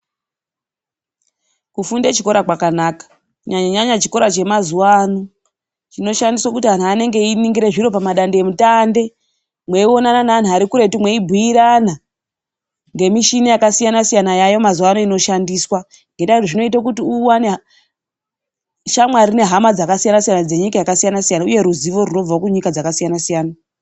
Kufunda chikora kwakanaka. Kunyanyanyaya chikora chamazuva ano. Chinoshamisa kuti vantu vanenge eiringire zviro pamatandemutande. Mweinonana nevantu ari kure mweibhuirana. Ngemichina yakasisyasiyana yamazuva ano inoshandiswa. Ngendaa yekuti zvinoita kuti unowana shamwari nehama dzakasiyana siyana dzenyika dzakasiyana uye neruzivo rwunobva kunyika dzakasiyana siyana.